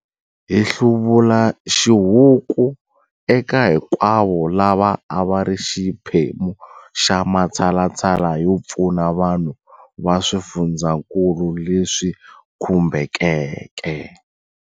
Hi hluvula xihuku eka hinkwavo lava a va ri xiphemu xa matshalatshala yo pfuna vanhu va swifundzankulu leswi khumbekeke.